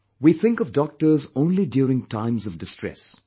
We think of doctors only during times of distress